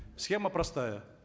схема простая